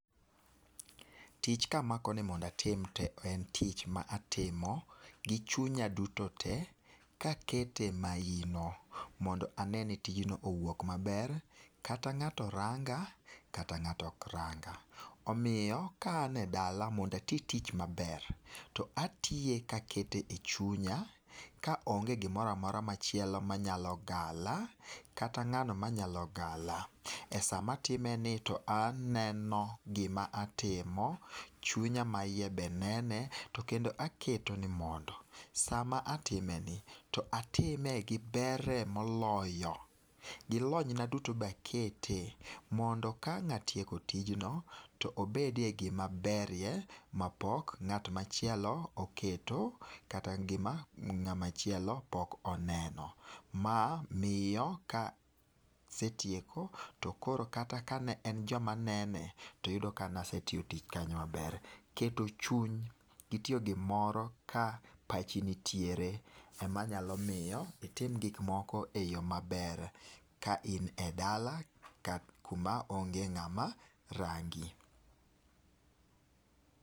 Tich ka amako ni mondo atim to en tich ma atimo gi chunya duto te, ka aketo e maino mondo ane ni tijno owuok ma ber kata ng'ato ranga kata ng'ato ok ranga .Omiyo ka an e dala mondo ati tich ma ber atiyo ka aketo chunya ka onge gi moro amora ma chielo ma nyalo gala kata ng'ano ma nya gala. E sa ma atime ni to aneno gi ma tim o,chunya ma iye be nene, to bende aketo ni mondo sa ma atime ni to atime gi ber e moloyo gi lony na duto te be akete mondo ka ang' atieko tijn o to obedie gi ma ber na pok ngat machielo oketo kata gi ma ng'a machielo oneno. Ma miyo ka asetieko to koro kata ka ne en jo ma nene to yudo ka ne nasetiyo tich kanyo ma ber. Keto chuny gi tiyo gi moro ka pachi nitiere e ma nyalo miyo itim gik moko e yo ma ber ka in e dala ku ma onge ng'a ma rangi.